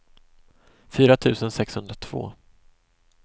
fyra tusen sexhundratvå